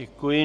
Děkuji.